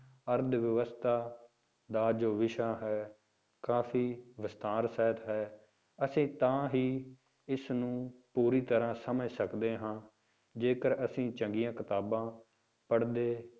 ਅਰਥ ਵਿਵਸਥਾ ਦਾ ਜੋ ਵਿਸ਼ਾ ਹੈ, ਕਾਫ਼ੀ ਵਿਸਥਾਰ ਸਹਿਤ ਹੈ, ਅਸੀਂ ਤਾਂ ਹੀ ਇਸਨੂੰ ਪੂਰੀ ਤਰ੍ਹਾਂ ਸਮਝ ਸਕਦੇ ਹਾਂ ਜੇਕਰ ਅਸੀਂ ਚੰਗੀਆਂ ਕਿਤਾਬਾਂ ਪੜ੍ਹਦੇ,